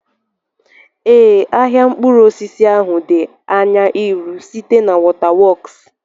Ee, ahịa mkpụrụ osisi ahụ di anya iru, site na waterworks.